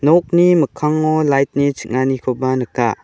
nokni mikkango light-ni ching·anikoba nika.